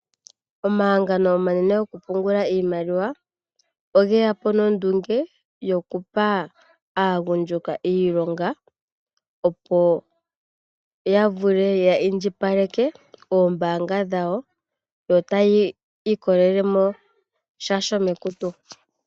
Omahangano omanene go ku pungula iimaliwa, oge yapo nondunge yo kupa aagundjuka iilonga, yo ya vule ya indjipaleke oombaanga dhawo, yo ta ya ilikolele mo sha shomekutu.